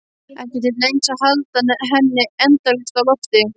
Ekki til neins að halda henni endalaust á lofti.